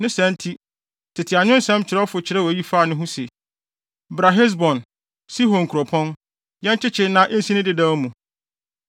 Ne saa nti, tete anwensɛm kyerɛwfo kyerɛw eyi faa ne ho se, “Bra Hesbon, Sihon kuropɔn, yɛnkyekye na ensi ne dedaw mu.